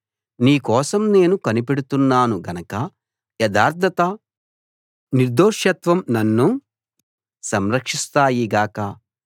నీ కోసం నేను కనిపెడుతున్నాను గనక యథార్థత నిర్దోషత్వం నన్ను సంరక్షిస్తాయి గాక